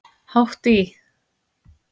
Hátt í